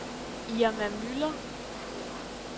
Irma Müller